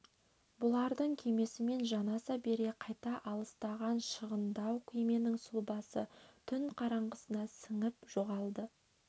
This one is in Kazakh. бұлардың кемесімен жанаса бере қайта алыстаған шағындау кеменің сұлабасы түн қараңғысына сіңіп жоғалды